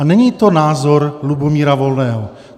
A není to názor Lubomíra Volného.